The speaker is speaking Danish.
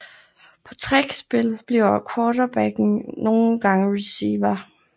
På trick spil bliver quarterbacken nogle gange receiver